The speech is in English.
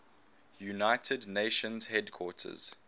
united nations headquarters